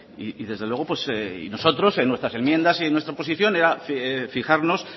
y desde luego nosotros en nuestras enmiendas y en nuestra posición era fijarnos